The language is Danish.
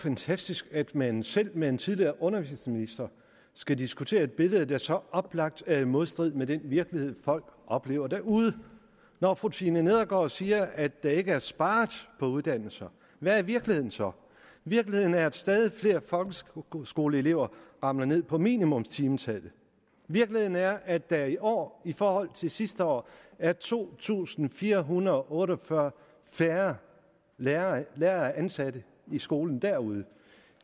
fantastisk at man selv med en tidligere undervisningsminister skal diskutere et billede der så oplagt er i modstrid med den virkelighed folk oplever derude når fru tina nedergaard siger at der ikke er sparet på uddannelse hvad er virkeligheden så virkeligheden er at stadig flere folkeskoleelever ramler ned på minimumstimetallet virkeligheden er at der i år i forhold til sidste år er to tusind fire hundrede og otte og fyrre færre lærere ansat i skolen derude